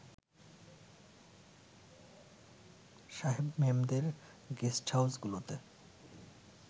সাহেব-মেমদের গেস্টহাউসগুলোতে